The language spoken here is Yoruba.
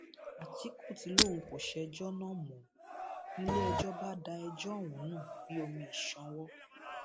àtìkù tí lòun kò ṣẹjọ náà mò ń níléẹjọ bá da ẹjọ ọhún nù bíi omi ìsanwó